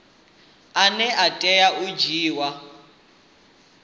ane a tea u dzhiiwa